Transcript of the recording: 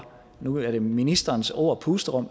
nu er det ministerens ord pusterum